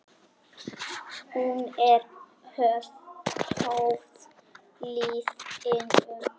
Hún er óháð lífinu.